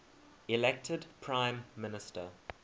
elected prime minister